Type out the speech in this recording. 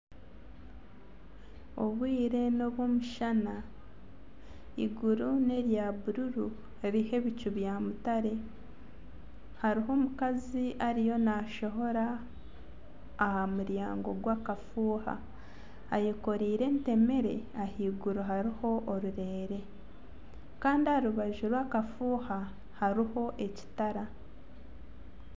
Obwire n'obw'omushana, eiguru nerya bururu ririho ebicu bya mutare, hariho omukazi ariyo naashohora aha muryago gwakafuuha ayekoreire entemere ahaiguru mutwe hariho orurereere kandi aha rubaju rwakafuuha hariho ekitara